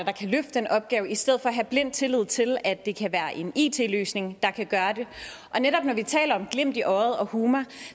den opgave i stedet for at have blind tillid til at det kan være en it løsning der kan gøre det og netop når vi taler om glimt i øjet og humor